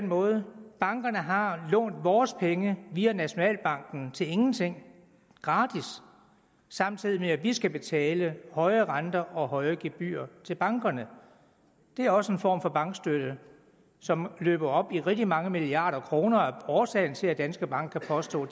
måde bankerne har lånt vores penge via nationalbanken til ingenting gratis samtidig med at vi skal betale høje renter og høje gebyrer til bankerne det er også en form for bankstøtte som løber op i rigtig mange milliarder kroner og som er årsagen til at danske bank har påstået